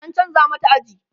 an chanza mata aji